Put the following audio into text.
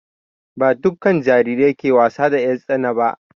Ba dukka jarirai ke wasa da 'yar tsana ba